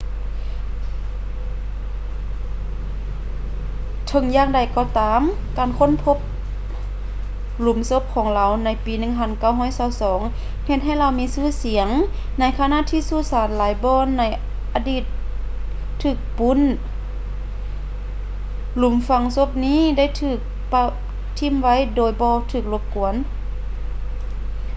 ເຖິງຢ່າງໃດກໍຕາມ ການຄົ້ນພົບຫຼຸມສົບຂອງລາວໃນປີ 1922 ເຮັດໃຫ້ລາວມີຊື່ສຽງ ໃນຂະນະທີ່ສຸສານຫລາຍບ່ອນໃນອະດີດຖືກປົ້ນ ຫຼຸມຝັງສົບນີ້ໄດ້ຖືກປະຖິ້ມໄວ້ໂດຍບໍ່ຖືກລົບກວນ